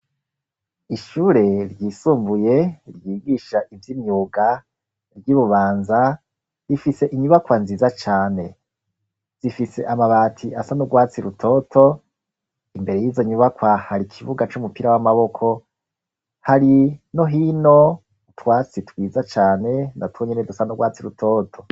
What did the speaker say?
Ishure ryisumvuye ryigisha ivyo imyuga ry'u bubanza rifise inyubakwa nziza cane zifise amabati asa n'urwatsi rutoto imbere y'izo nyubakwa hari ikivuga c'umupira w'amaboko hari nohino utwatsi twiza cane natunyene dusano gwatsi rutoto.